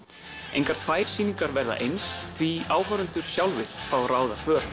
engar tvær sýningar verða eins því áhorfendur sjálfir fá að ráða för